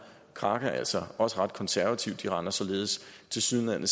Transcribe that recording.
kraka altså også ret konservativt de regner således tilsyneladende